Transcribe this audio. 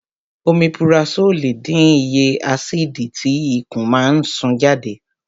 Omipurasólì dín iye ásìdì tí ikùn máa ń sún jáde